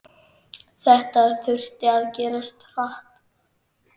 Þetta þurfti að gerast hratt.